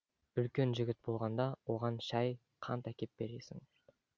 үлкен жігіт болғанда оған шай қант әкеп бересің